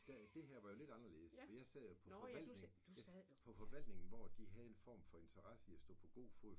Der det her var jo lidt anderldes for jeg sad jo på forvaltning på forvaltningen hvor de havde en form for interesse for at stå på god fod